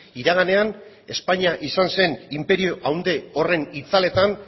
iraganean espainia izan zen inperio handi horren itzaletan